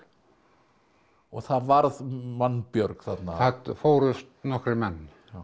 og það varð mannbjörg þarna það fórust nokkrir menn